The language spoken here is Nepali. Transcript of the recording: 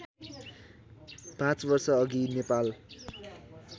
पाँच वर्षअघि नेपाल